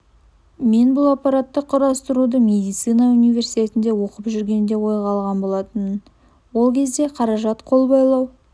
мен бұл аппаратты құрастыруды медицина университетінде оқып жүргенде ойға алған болатынмын ол кезде қаражат қол байлау